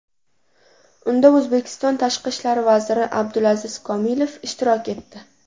Unda O‘zbekiston tashqi ishlar vaziri Abdulaziz Komilov ishtirok etdi.